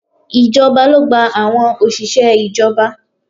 Ìjọba ló gba àwọn òṣìṣẹ́ ìjọba